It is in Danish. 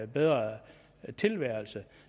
bedre tilværelse